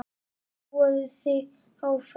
Prófaðu þig áfram!